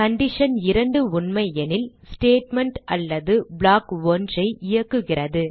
condition 2 உண்மையெனில் statement அல்லது block 1 ஐ இயக்குகிறது